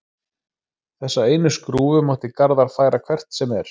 Þessa einu skrúfu mátti Garðar færa hvert sem er.